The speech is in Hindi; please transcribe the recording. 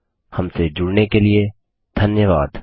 हमसे जुड़ने के लिए धन्यवाद